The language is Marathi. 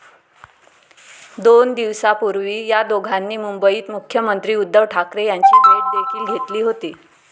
दोन दिवसांपूर्वी या दोघांनी मुंबईत मुख्यमंत्री उद्धव ठाकरे यांची भेट देखील घेतली होती.